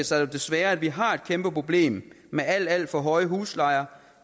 sig jo desværre at vi har et kæmpe problem med alt alt for høje huslejer